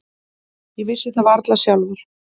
Ég vissi það varla sjálfur.